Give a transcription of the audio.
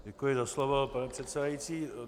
Děkuji za slovo, pane předsedající.